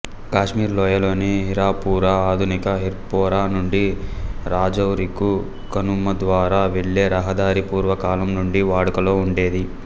కాశ్మీర్ లోయలోని హీరాపురా ఆధునిక హిర్పోరా నుండి రాజౌరికు కనుమ ద్వారా వెళ్ళే రహదారి పూర్వకాలం నుండీ వాడుకలో ఉండేది